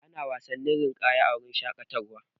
Ana wasan ninƙaya a wuraren shaƙatawa.